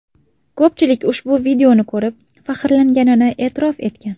Ko‘pchilik ushbu videoni ko‘rib faxrlanganini e’tirof etgan .